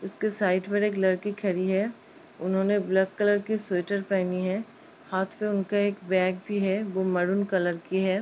उसके साइड पर एक लड़की खड़ी है उन्होने ब्लैक कलर की स्वेटर पहनी है हाथ पे उनके एक बैग भी है वो मरून कलर की है।